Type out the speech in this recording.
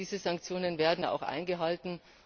Diese Sanktionen werden auch eingehalten.